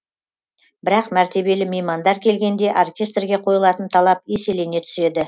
бірақ мәртебелі меймандар келгенде оркестрге қойылатын талап еселене түседі